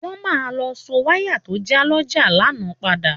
Wọ́n máa lọ so wáyà tó já lọ́jà lánàá padà